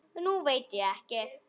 Nú veit ég ekki.